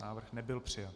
Návrh nebyl přijat.